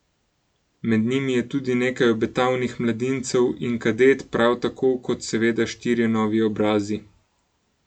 Med njimi je tudi nekaj obetavnih mladincev in kadet, prav tako kot seveda štirje novi obrazi.